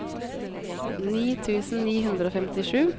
ni tusen ni hundre og femtisju